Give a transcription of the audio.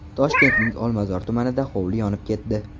Toshkentning Olmazor tumanida hovli yonib ketdi.